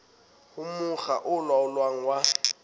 ho mokga o laolang wa